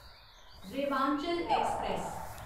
Rewanchal express